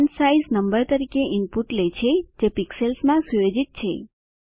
font size number તરીકે input લે છે જે પિક્સેલ્સ માં સુયોજિત છે